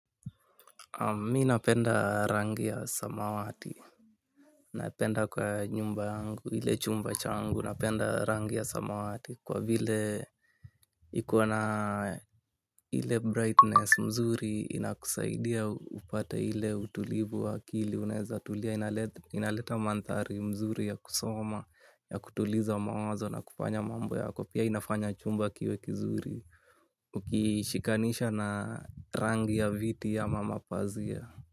Mi napenda rangi ya samawati napenda kwa nyumba yangu ile chumba changu napenda rangi ya samawati kwa vile iko na ile brightness mzuri inakusaidia upate ile utulivu wa akili unaezatulia inaleta mandhari mzuri ya kusoma ya kutuliza mawazo na kufanya mambo yako kwa pia inafanya chumba kiwe kizuri. Ukishikanisha na rangi ya viti ama mapazia.